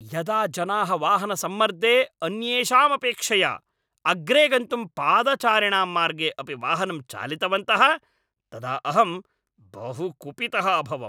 यदा जनाः वाहनसम्मर्दे अन्येषामपेक्षया अग्रे गन्तुं पादचारिणां मार्गे अपि वाहनं चालितवन्तः तदा अहं बहु कुपितः अभवम्।